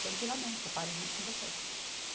Tranquilamente, eu paro junto com vocês.